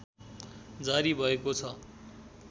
जारी भएको छ